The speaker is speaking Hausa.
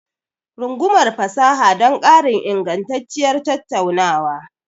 Rungumar fasaha don ƙarin ingantacciyar tattaunawa.